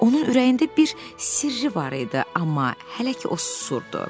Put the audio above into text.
Onun ürəyində bir sirri var idi, amma hələ ki, o susurdu.